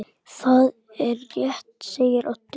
Það er rétt segir Oddur.